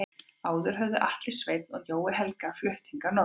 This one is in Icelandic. Áður höfðu Atli Sveinn og Jói Helga flutt hingað norður.